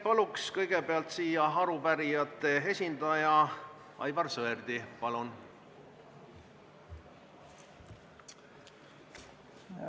Palun kõigepealt siia arupärijate esindaja Aivar Sõerdi!